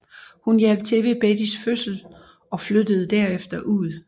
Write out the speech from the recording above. Hun hjalp til ved Bettys fødsel og flyttede derefter ud